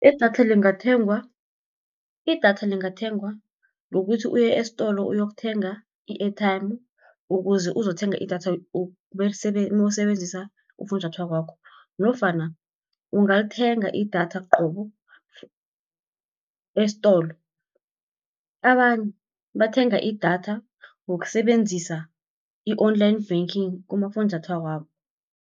Idatha lingathengwa ngokuthi uye esitolo uyokuthenga i-airtime, ukuze uzokuthenga idatha nawusebenzisa ufunjathwako wakho, nofana ungalithenga idatha qobo esitolo. Abanye bathenga idatha ngokusebenzisa i-Online banking kumafunjathwako wabo.